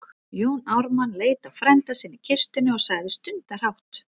Jón Ármann leit á frænda sinn í kistunni og sagði stundarhátt